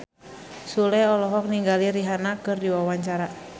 Sule olohok ningali Rihanna keur diwawancara